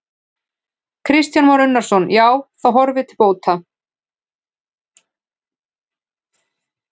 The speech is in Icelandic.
Kristján Már Unnarsson: Já, það horfir til bóta?